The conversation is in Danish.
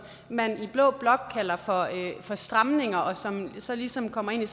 man i blå blok kalder for stramninger og som så ligesom kommer ind